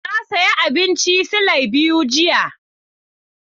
Na sayi abincin silai biyu jiya.